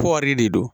Kɔɔri de don